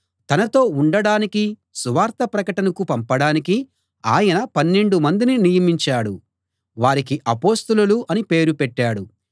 తనతో ఉండడానికీ సువార్త ప్రకటనకు పంపడానికీ ఆయన పన్నెండు మందిని నియమించాడు వారికి అపొస్తలులు అని పేరు పెట్టాడు